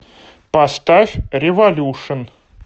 поставь революшн